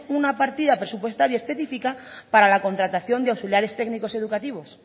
una partida presupuestaria específica para la contratación de auxiliares técnicos educativos